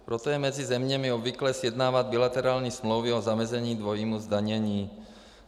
Proto je mezi zeměmi obvyklé sjednávat bilaterální smlouvy o zamezení dvojímu zdanění.